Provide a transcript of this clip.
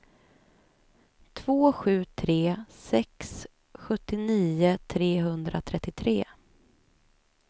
två sju tre sex sjuttionio trehundratrettiotre